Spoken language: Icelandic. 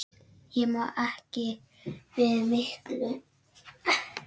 Ég má ekki við miklu.